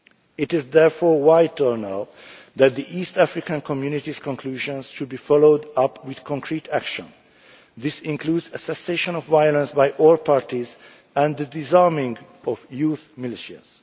credible. It is therefore vital now that the East African Community's conclusions should be followed up with concrete action. This includes a cessation of violence by all parties and the disarming of youth